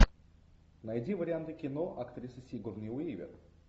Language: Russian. найди варианты кино актрисы сигурни уивер